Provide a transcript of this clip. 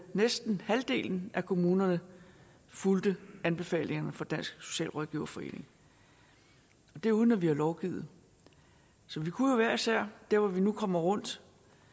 næsten halvdelen af kommunerne fulgte anbefalingerne fra dansk socialrådgiverforening det er uden at vi har lovgivet så vi kunne jo hver især der hvor vi nu kommer rundt